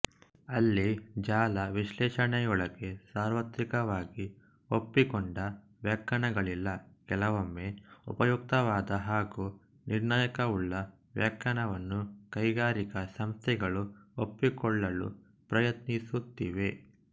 ಅಲ್ಲಿ ಜಾಲ ವಿಶ್ಲೇಷಣೆಯೊಳಗೆ ಸಾರ್ವತ್ರಿಕವಾಗಿ ಒಪ್ಪಿಕೊಂಡ ವ್ಯಾಖ್ಯಾನಗಳಿಲ್ಲ ಕೆಲವೊಮ್ಮೆ ಉಪಯುಕ್ತವಾದ ಹಾಗೂ ನಿರ್ಣಾಯಕವುಳ್ಳ ವ್ಯಾಖ್ಯಾನವನ್ನು ಕೈಗಾರಿಕಾ ಸಂಸ್ಥೆಗಳು ಒಪ್ಪಿಕೊಳ್ಳಲು ಪ್ರಯತ್ನಿಸುತ್ತಿವೆ